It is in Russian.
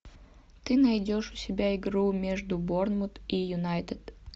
ты найдешь у себя игру между борнмут и юнайтед